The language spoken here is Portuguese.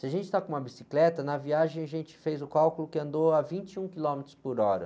Se a gente está com uma bicicleta, na viagem a gente fez o cálculo que andou a vinte e um quilômetros por hora.